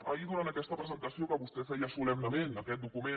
ahir durant aquesta presentació que vostè feia solemnement aquest document